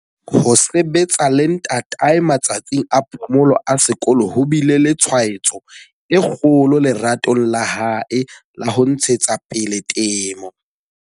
Ho sebetsa le ntatae matsatsing a phomolo a sekolo ho bile le tshwaetso e kgolo leratong la hae la ho ntshetsa pele temo.